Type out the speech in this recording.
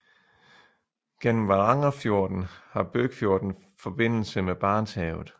Gennem Varangerfjorden har Bøkfjorden forbindelse med Barentshavet